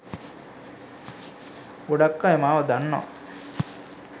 ගොඩක් අය මාව දන්නවා.